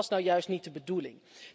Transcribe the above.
Dat was nou juist niet de bedoeling.